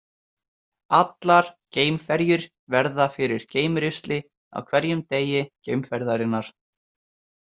Allar geimferjur verða fyrir geimrusli á hverjum degi geimferðarinnar.